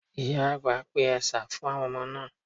Ìyà àgbà pe ẹ̀sà fún àwọn ọmọ náà.